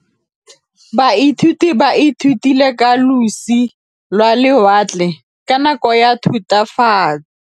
Baithuti ba ithutile ka losi lwa lewatle ka nako ya Thutafatshe.